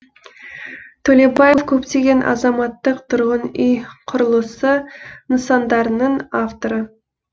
төлебаев көптеген азаматтық тұрғын үй құрылысы нысандарының авторы